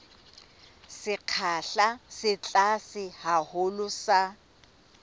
sekgahla se tlase haholo sa